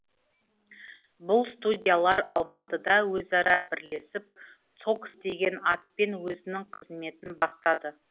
бұл студиялар алматыда өзара бірлесіп цокс деген атпен өзінің қызметін бастады